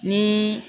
Ni